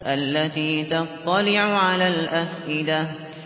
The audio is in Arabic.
الَّتِي تَطَّلِعُ عَلَى الْأَفْئِدَةِ